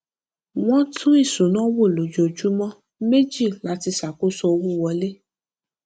wọn tún ìṣúná wò lójoojúmọ méjì láti ṣàkóso owó wọlé